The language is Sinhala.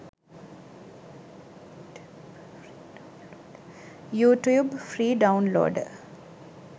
youtube free downloader